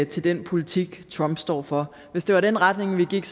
til den politik trump står for hvis det var den retning vi gik